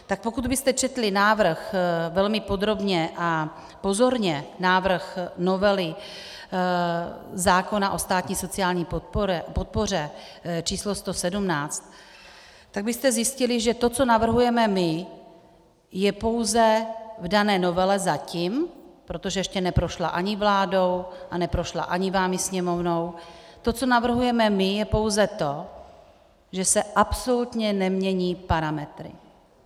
Tak pokud byste četli návrh velmi podrobně a pozorně, návrh novely zákona o státní sociální podpoře číslo 117, tak byste zjistili, že to, co navrhujeme my, je pouze v dané novele zatím, protože ještě neprošla ani vládou a neprošla ani vámi, Sněmovnou, to, co navrhujeme my, je pouze to, že se absolutně nemění parametry.